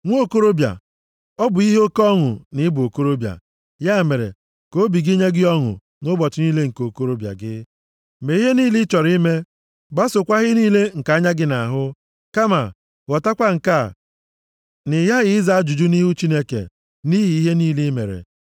Nwa okorobịa, ọ bụ ihe oke ọṅụ na ị bụ okorobịa. Ya mere, ka obi gị nye gị ọṅụ nʼụbọchị niile nke okorobịa gị. + 11:9 \+xt Akw 3:27\+xt* Mee ihe niile ị chọrọ ime; gbasookwa ihe niile nke anya gị na-ahụ. Kama, ghọtakwa nke a, na ị ghaghị ịza ajụjụ nʼihu Chineke nʼihi ihe niile i mere.